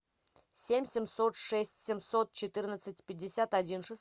семь семьсот шесть семьсот четырнадцать пятьдесят один